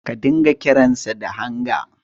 Ka dinga kiransa da Hanga.